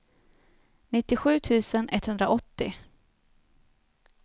nittiosju tusen etthundraåttio